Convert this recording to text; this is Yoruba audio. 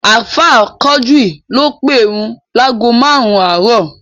Ààfáà Quadri ló pèrun láágo márùn-ún àárọ̀